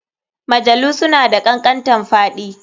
Mjalu suna da kankantanfaɗi